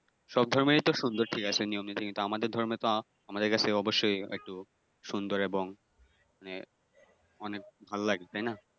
সব ধর্মেরই তো সুন্দর দিক আছে, নিয়মনীতি তো আমাদের ধর্মের তো আমাদের কাছে অবশ্যই আরো একটু সুন্দর এবং মানে অনেক ভালো লাগে তাইনা।